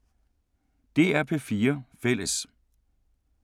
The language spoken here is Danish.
DR P4 Fælles